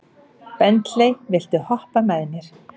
Bentley, viltu hoppa með mér?